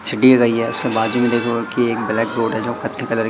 कुछ दे रही है उसके बाजू में देखो की एक ब्लैक रोड है जो कत्थे कलर --